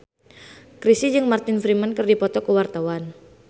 Chrisye jeung Martin Freeman keur dipoto ku wartawan